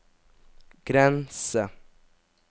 grense